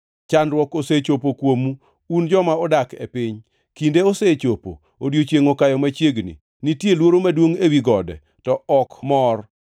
Chandruok osechopo kuomu, un joma odak e piny. Kinde osechopo! Odiechiengʼ okayo machiegni. Nitie luoro maduongʼ, ewi gode, to ok mor.